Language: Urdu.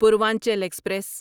پوروانچل ایکسپریس